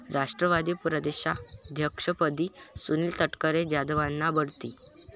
राष्ट्रवादीच्या प्रदेशाध्यक्षपदी सुनील तटकरे, जाधवांना बढती?